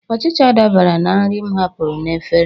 Ọchịcha dabara na nri m hapụrụ n'efere.